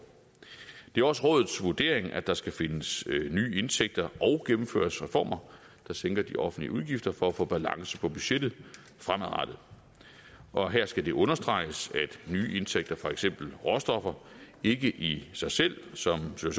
det er også rådets vurdering at der skal findes nye indtægter og gennemføres reformer der sænker de offentlige udgifter for at få balance på budgettet fremadrettet og her skal det understreges at nye indtægter for eksempel råstoffer ikke i sig selv sådan som